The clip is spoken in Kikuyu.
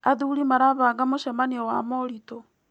Athuri marabanga mũcemanio wa moritũ.